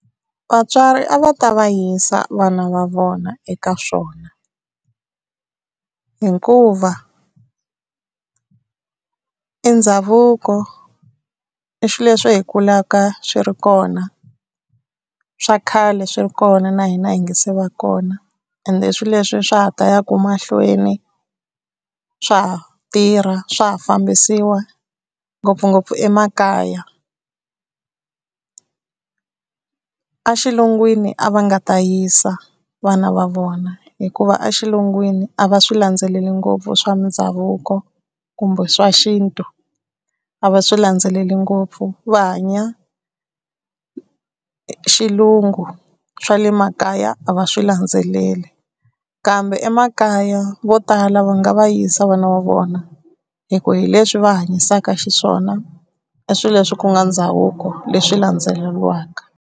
Vatswari a va ta va yisa vana va vona eka swona hikuva i ndhavuko i swilo leswi hi kulaka swi ri kona swa khale swi ri kona na hina hi nga se va kona ende i swilo leswi swa ha ta yaka mahlweni swa ha tirha swa ha fambisiwa ngopfungopfu emakaya. A xilungwini a va nga ta yisa vana va vona hikuva a xilungwini a va swi landzeleli ngopfu swa mindhavuko kumbe swa xintu a va swi landzeleli ngopfu va hanya xilungu swa le makaya a va swi landzeleli kambe emakaya vo tala va nga va yisa vana va vona hi ku hi leswi va hanyisaka xiswona i swilo leswi ku nga ndhavuko leswi landzeleriwaka.